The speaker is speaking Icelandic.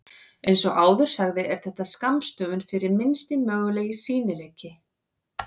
Eins og áður sagði er þetta skammstöfun fyrir Minnsti mögulegi sýnileiki.